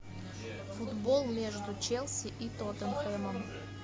футбол между челси и тоттенхэмом